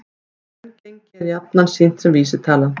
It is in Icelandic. Raungengi er jafnan sýnt sem vísitala